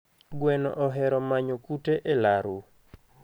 Gweno ohero manyo kute e laru.